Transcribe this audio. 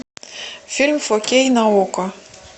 фильм фо кей на окко